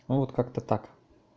ну вот как-то так